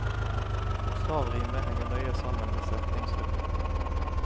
Bokstavrimet henger nøye sammen med setningsrytmen.